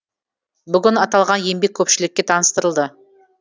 бүгін аталған еңбек көпшілікке таныстырылды